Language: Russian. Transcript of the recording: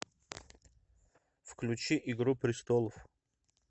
включи игру престолов